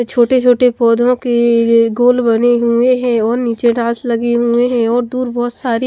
छोटे-छोटे पौधों के गोल बने हुए हैं और नीचे लगी हुई है और दूर बहुत सारी--